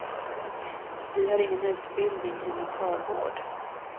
Vi har ingen utbildning i mentalvård.